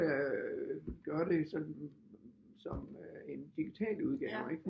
Gøre det sådan som en digital udgave ikke